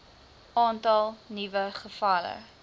aantal nuwe gevalle